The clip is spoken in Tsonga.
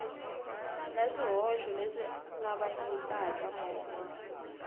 na swihoxo leswi kavanyetaka mongo